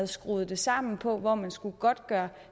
skruet sammen på hvor man skulle godtgøre